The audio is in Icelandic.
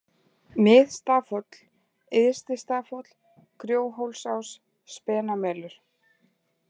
Mið-Stafhóll, Yðsti-Stafhóll, Grjóhólsás, Spenamelur